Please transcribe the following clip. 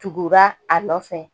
Tugura a nɔfɛ